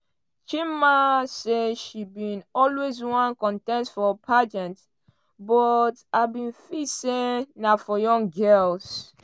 chidinma say she bin always wan contest for pageant but i bin feel say na for younger girls.